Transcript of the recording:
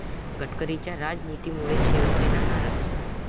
गडकरींच्या 'राज'नितीमुळे शिवसेना नाराज